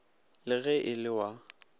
le ge e le wa